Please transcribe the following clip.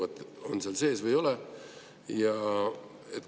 On see nõue seal sees või ei ole?